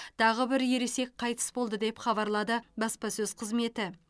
тағы бір ересек қайтыс болды деп хабарлады баспасөз қызметі